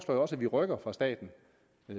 jeg også at vi rykker fra statens